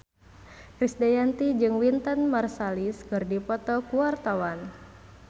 Krisdayanti jeung Wynton Marsalis keur dipoto ku wartawan